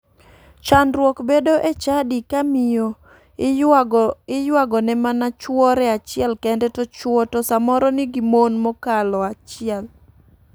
Chandruok bedo e chadi ka miyo iywagone mana chuore achiel kende to chuo to samoro nigi mon mokalo achiel.